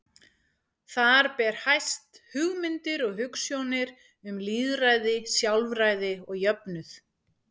Þar ber hæst hugmyndir og hugsjónir um lýðræði, sjálfræði og jöfnuð.